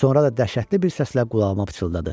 Sonra da dəhşətli bir səslə qulağıma pıçıldadı: